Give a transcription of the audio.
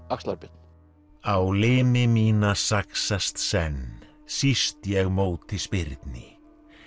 axlar Björn á limi mína saxast senn síst ég móti spyrni